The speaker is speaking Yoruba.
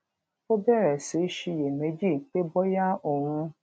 ó bèrè sí í ṣiyèméjì pé bóyá òun